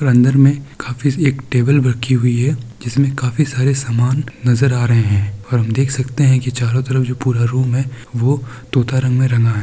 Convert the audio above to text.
अंदर में काफी एक टेबल रखी हुई है जिसमें काफी सारे सामान नजर आ रहे हैं और हम देख सकते हैं कि चारों तरफ जो रूम है वह तोता रंग में रंगा हुआ है।